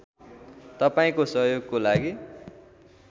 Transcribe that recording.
तपाईँको सहयोगको लागि